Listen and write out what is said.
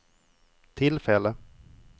tillfälle